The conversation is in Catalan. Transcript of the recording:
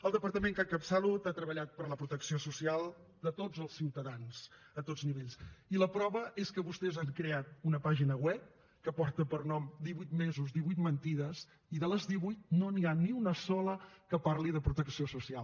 el departament que encapçalo ha treballat per la protecció social de tots els ciutadans a tots nivells i la prova és que vostès han creat una pàgina web que porta per nom divuit mesos divuit mentides i de les divuit no n’hi ha ni una sola que parli de protecció social